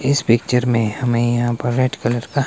इस पिक्चर में हमें यहां पर रेड कलर का--